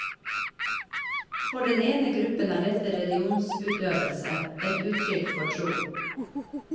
For den ene gruppen er dette religionsutøvelse, et uttrykk for tro.